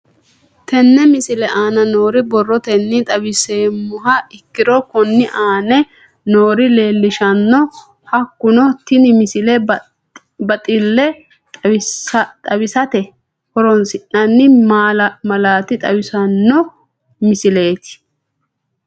Tenne misile aana noore borrotenni xawisummoha ikirro kunni aane noore leelishano. Hakunno tinni misile baxile xawisatte horonsinanni malaate xawissanno misileeti.